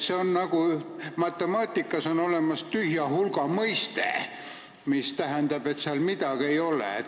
See on nagu matemaatikas olemas olev tühja hulga mõiste, mis tähendab, et seal midagi ei ole.